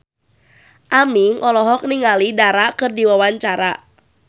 Aming olohok ningali Dara keur diwawancara